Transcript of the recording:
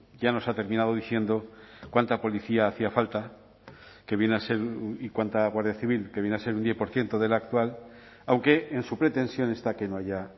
ya nos ha terminado diciendo cuánta policía hacía falta que viene a ser y cuánta guardia civil que viene a ser un diez por ciento de la actual aunque en su pretensión está que no haya